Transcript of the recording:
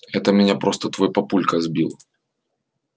это меня просто твой папулька сбил